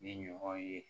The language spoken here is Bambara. Ni ɲɔgɔn ye